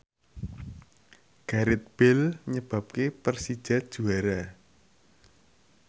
Gareth Bale nyebabke Persija juara